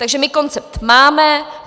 Takže my koncept máme.